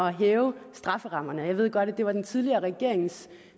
at hæve strafferammerne jeg ved godt at det var den tidligere regerings